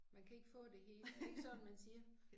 Man kan ikke få det hele er det ikke sådan man siger